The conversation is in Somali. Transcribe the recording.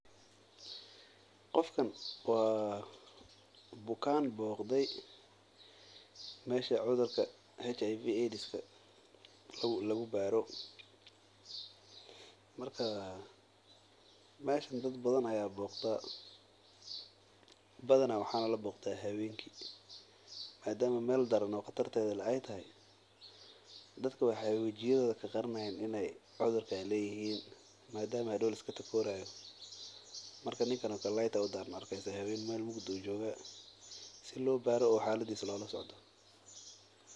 Qofkan waa bukaan boqde meesha cudurka aidska lagu baaro meesha dad badan ayaa boqdaa badanaa habeenki ayaa la adaa madama aay dadka iska qarinayaan, marka ninkan meel ayuu jooga si loo baaro oo xaladiisa lola socdo.